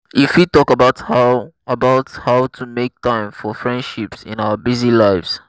you fit talk about how about how to make time for friendships in our busy lives.